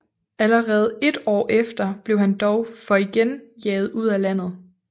Allerede ét år efter blev han dog for igen jaget ud af landet